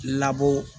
Labɔ